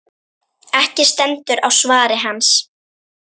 Ekki stendur á svari hans.